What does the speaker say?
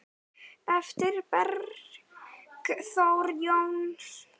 eftir Bergþór Jónsson